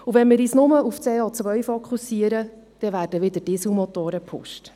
Und wenn wir nur auf CO fokussieren, dann werden wieder Dieselmotoren gepusht.